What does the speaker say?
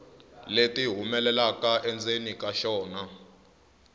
leti humelelaka endzeni ka xona